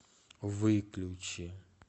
выключи